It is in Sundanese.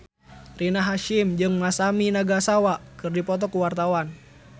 Rina Hasyim jeung Masami Nagasawa keur dipoto ku wartawan